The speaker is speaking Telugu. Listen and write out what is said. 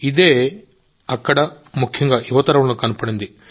ఇదే అక్కడ ముఖ్యంగా యువ తరంలో కనబడింది